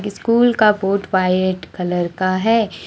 School का board white colour का है।